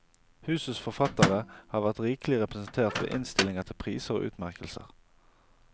Husets forfattere har vært rikelig representert ved innstillinger til priser og utmerkelser.